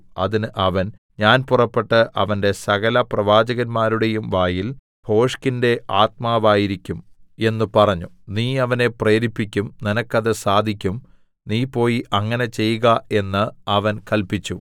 അതിന് അവൻ ഞാൻ പുറപ്പെട്ട് അവന്റെ സകലപ്രവാചകന്മാരുടെയും വായിൽ ഭോഷ്കിന്റെ ആത്മാവായിരിക്കും എന്ന് പറഞ്ഞു നീ അവനെ പ്രേരിപ്പിക്കും നിനക്കത് സാധിക്കും നീ പോയി അങ്ങനെ ചെയ്ക എന്ന് അവൻ കല്പിച്ചു